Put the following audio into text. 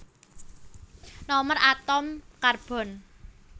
Nomer atom Karbon